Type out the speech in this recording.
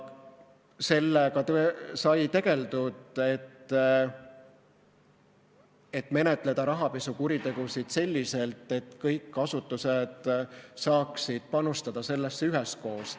Sellega sai tegeldud, et menetleda rahapesukuritegusid selliselt, et kõik asutused saaksid panustada sellesse üheskoos.